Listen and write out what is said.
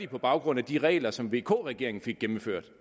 på baggrund af de regler som vk regeringen fik gennemført